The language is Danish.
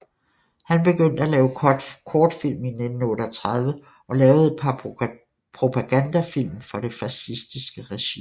Han begyndte at lave kortfilm i 1938 og lavede et par propagandafilm for det fascistiske regime